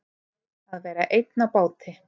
Að vera einn á báti